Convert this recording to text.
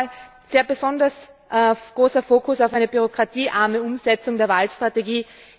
Und noch einmal, ein besonders großer Fokus auf einer bürokratiearmen Umsetzung der Waldstrategie.